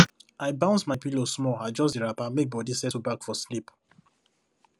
i bounce my pillow small adjust the wrapper make body settle back for sleep